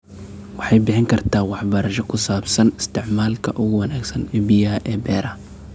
Waxay bixin kartaa waxbarasho ku saabsan isticmaalka ugu wanaagsan ee biyaha ee beeraha.